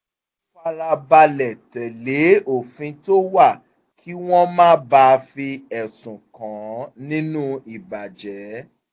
ó fara balẹ̀ tẹ̀lé òfin tó wà kí wọ́n má bàa fi ẹ̀sùn kàn án nínú ìbàjẹ́